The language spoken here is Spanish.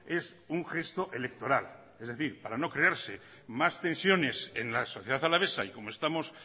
es un gesto electoral es decir para no crearse más tensiones en la sociedad alavesa y como estamos